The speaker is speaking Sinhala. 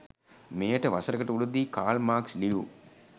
මෙයට වසරකට උඩදී කාල් මාක්ස් ලියූ